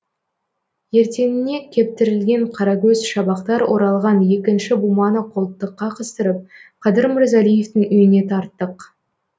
ертеңіне кептірілген қаракөз шабақтар оралған екінші буманы қолтыққа қыстырып қадыр мырзалиевтың үйіне тарттық